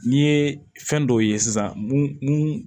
N'i ye fɛn dɔw ye sisan mun